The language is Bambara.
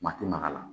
Ma tɛ maka la